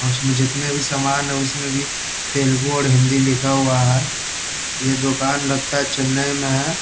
और उसमें जितने भी सामान है उसमे भी तेलगु और हिंदी लिखा हुआ है ये दुकान लगता चेनई में है ।